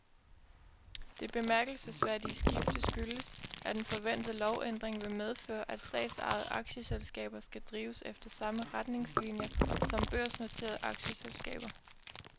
Det bemærkelsesværdige skifte skyldes, at en forventet lovændring vil medføre, at statsejede aktieselskaber skal drives efter samme retningslinier som børsnoterede aktieselskaber.